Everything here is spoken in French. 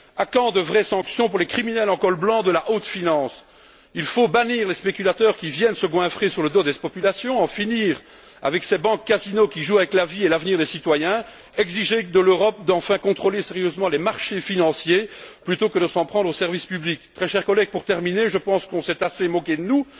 À quand de vraies sanctions pour les criminels en col blanc de la haute finance? Il faut bannir les spéculateurs qui viennent se goinfrer sur le dos des populations, en finir avec ces banques casinos qui jouent avec la vie et l'avenir des citoyens, exiger de l'Europe qu'elle fasse contrôler sérieusement les marchés financiers plutôt que de s'en prendre aux services publics. Très chers collègues, pour terminer, je pense qu'on s'est assez moqué de nous.